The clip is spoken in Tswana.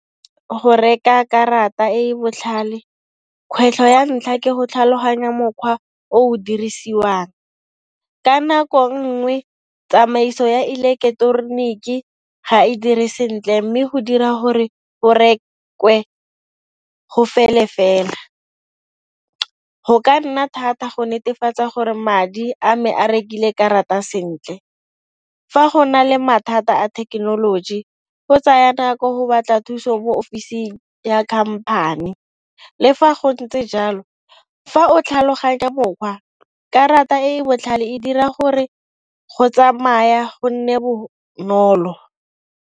Go reka karata e e botlhale kgwetlho ya ntlha ke go tlhaloganya mokgwa o dirisiwang, ka nako nngwe tsamaiso ya ileketoroniki ga e dire sentle mme go dira gore go rekwe go fele fela. Go ka nna thata go netefatsa gore madi a me a rekile karata sentle. Fa go na le mathata a thekenoloji go tsaya nako go batla thuso mo ofising ya khamphane. Lefa go ntse jalo fa o tlhaloganya botlhokwa karata e e botlhale e dira gore go tsamaya go nne bonolo.